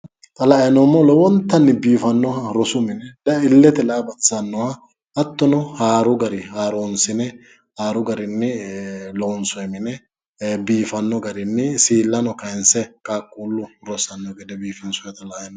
Xa la''ani noommohu rosu mine la''ate lowo geeshsha biifano gede assine loonsoniha qaaqqulu rosi mineti